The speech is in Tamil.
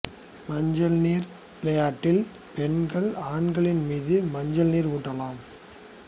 மஞ்சள் நீர் விளையாட்டில் பெண்கள் ஆண்களின் மீது மஞ்சள் நீர் ஊற்றலாம்